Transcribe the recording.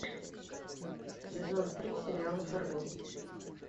сезон три сериала фарго